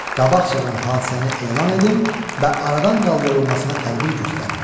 Qabaqcadan hadisəni elan edim və aradan qaldırılmasına tədbir göstərim.